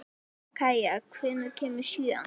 Kaía, hvenær kemur sjöan?